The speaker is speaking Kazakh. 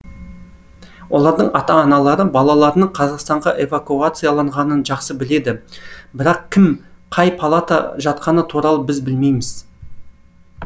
олардың ата аналары балаларының қазақстанға эвакуацияланғанын жақсы біледі бірақ кім қай палата жатқаны туралы біз білмейміз